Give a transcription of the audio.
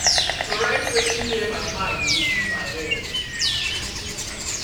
to write wetin dey my mind dey free my head.